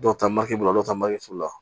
Dɔw ta maki la dɔw ta maki foro la